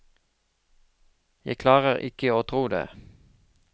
Jeg klarer ikke å tro det.